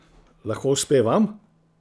Lahko uspe vam?